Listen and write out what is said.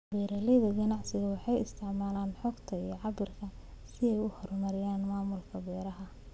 Beeralayda ganacsiga waxay isticmaalaan xogta iyo cabbirada si ay u horumariyaan maamulka beeraha.